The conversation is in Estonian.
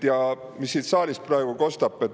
Ja mis siit saalist praegu kostis?